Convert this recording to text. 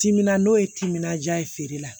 Timinan n'o ye timinandiya ye feere la